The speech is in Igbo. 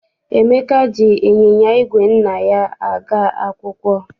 Emeka ji ịnyịnya igwe nna ya aga akwụkwọ.